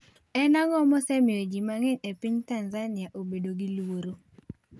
En ang'o mosemiyo ji mang'eny e piny Tanzania obedo gi luoro?